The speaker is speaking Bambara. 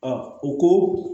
u ko